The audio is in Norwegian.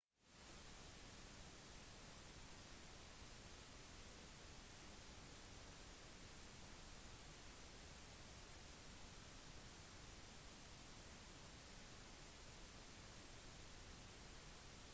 fransk lov ble endret hans aktivisme gikk tilbake til 15 års alderen da han sluttet seg til den franske motstandsbevegelsen under andre verdenskrig